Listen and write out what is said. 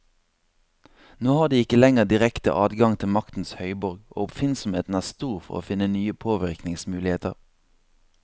Nå har de ikke lenger direkte adgang til maktens høyborg, og oppfinnsomheten er stor for å finne nye påvirkningsmuligheter.